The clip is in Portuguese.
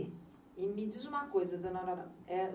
Me diz uma coisa, dona